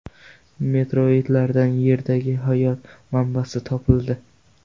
Meteoritlardan Yerdagi hayot manbasi topildi.